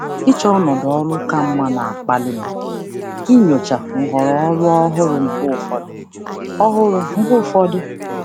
Ịchọ ọnọdụ ọrụ ka mma na-akpali m ịchọgharị nhọrọ ọrụ ọhụrụ mgbe ụfọdụ.